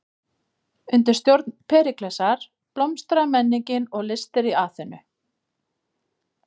Undir stjórn Períklesar blómstraði menningin og listir í Aþenu.